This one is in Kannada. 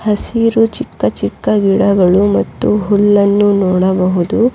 ಹಸಿರು ಚಿಕ್ಕ ಚಿಕ್ಕ ಗಿಡಗಳು ಮತ್ತು ಹುಲ್ಲನ್ನು ನೋಡಬಹುದು.